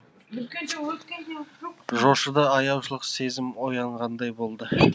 жошыда аяушылық сезім оянғандай болды